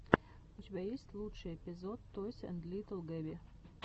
у тебя есть лучший эпизод тойс энд литтл гэби